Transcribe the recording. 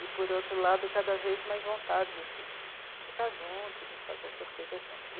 E, por outro lado, cada vez mais vontade, assim, de ficar junto, de fazer essas coisas juntos.